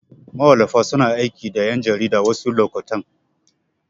Mawallafa suna aiki da ƴan jarida wasu lokutan.